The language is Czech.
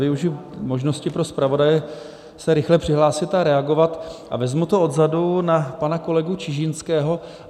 Využiji možnosti pro zpravodaje se rychle přihlásit a reagovat a vezmu to odzadu, na pana kolegu Čižinského.